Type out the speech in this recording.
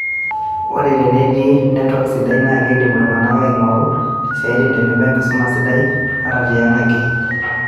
Ore teneti netwak sidai na keidim iltungana ainguru isiatin tenebo enkisuma sidai ata tiang ake